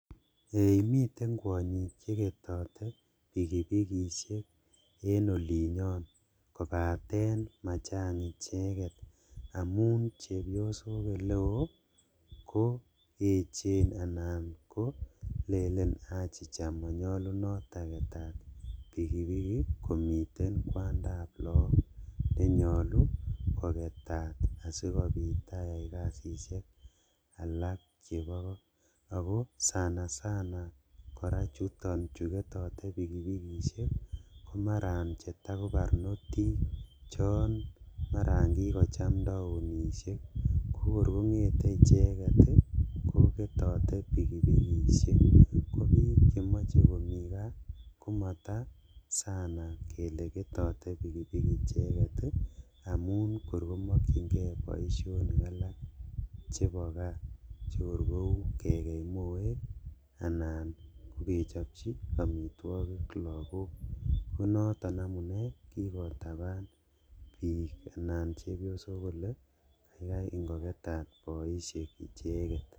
Ee miten kwonyik cheketote pikipikishek en olinyon kobaten machang icheket amun chebiosok eleo koechen anan kolelen achicha monyolunot aketat pikipiki komiten kwandab look nenyolu koketat asikobit ayai kasishek alak chebo koo, ako sana sana chuton chu ketote pikipikishek komaran chetako barnotik maran kikocham taonishek kokor kongete icheket koketote pikipikishek, kobik chemoe komi kaa komata sana kele ketote pikipiki icheket amun kor komokchingee boisionik alak chebo kaa chekor kou kekei moita, anan kokechobchi omitwogik lagok konoton amune kikotaban bik anan chebiosok kole kaikai ingoketat boishek icheket.